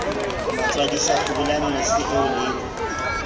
matswadisa hlobolang mese eo le